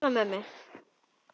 Ég starði á mömmu.